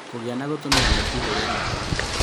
Kũgĩa na gũtũmĩra neti hũre dawa